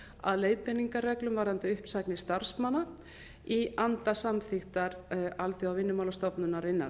að leiðbeiningarreglum varðandi uppsagnir starfsmanna í anda samþykktar alþjóðavinnumálastofnunarinnar